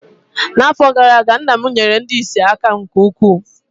N’afọ gara aga, nna m nyeere ndị ìsì aka nke ukwuu